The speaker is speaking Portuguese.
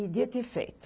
E dito e feito.